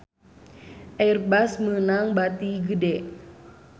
Airbus meunang bati gede